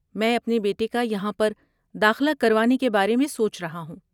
میں اپنے بیٹے کا یہاں پر داخلہ کروانے کے بارے میں سوچ رہا ہوں۔